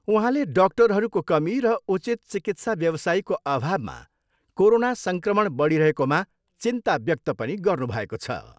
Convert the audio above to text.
उहाँले डाक्टरहरूको कमी र उचित चिकित्सा व्यवसायीको अभावमा कोरोना सङ्क्रमण बढिरहेकामा चिन्ता व्यक्त पनि गर्नुभएको छ।